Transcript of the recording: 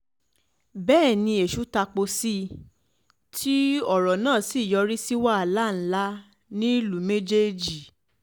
bẹ́ẹ̀ ni èṣù tapo sí i tí ọ̀rọ̀ náà sì yọrí sí wàhálà ńlá nílùú méjèèjì